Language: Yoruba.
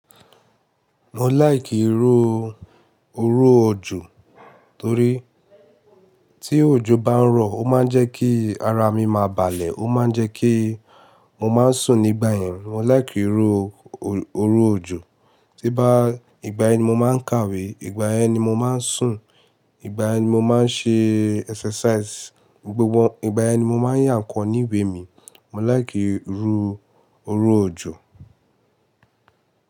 Mo like rí iró òjò torí tí òjò bá ń rọ̀ ó máa ń jẹ́ kí ara mi máa balẹ̀, ó máa ń jẹ́ kí mo má ń sùn nígbà yẹn. Mo like rí iró òjò. Tí bá ìgbà yẹn ni mo máa ń kàwé, ìgbà yẹn ni mo máa ń sùn, ìgbà yẹn ni mo máa ń ṣe exercise, ìgbà yẹn ni mo máa ń yà ńkan ní ìwé mi. Mo like rí iró òjò.